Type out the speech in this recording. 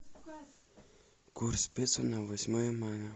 курс песо на восьмое мая